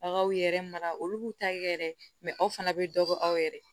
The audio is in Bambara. Aw kaw yɛrɛ mara olu b'u ta kɛ yɛrɛ aw fana bɛ dɔ bɔ aw yɛrɛ